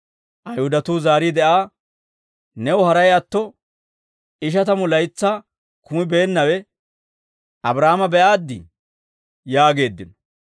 Ayihudatuu zaariide Aa, «New haray atto ishatamu laytsaa kumibeennawe Abraahaama be'aaddii?» yaageeddino.